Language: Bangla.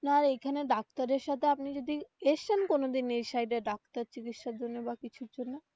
আপনার এইখানে ডাক্তারের সাথে আপনি যদি এসেছেন কোনো দিন এই side এ ডাক্তার চিকিৎসার জন্যে বা কিছুর জন্য.